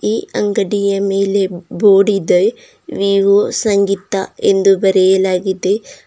ಈ ಅಂಗಡಿಯ ಮೇಲೆ ಬೋರ್ಡ್ ಇದೆ ವಿವೊ ಸಂಗೀತ ಎಂದು ಬರೆಯಲಾಗಿದೆ.